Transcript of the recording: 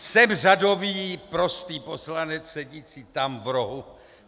Jsem řadový prostý poslanec sedící tam v rohu;